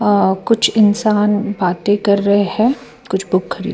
और कुछ इंसान बातें कर रहे है कुछ बुक खरीद --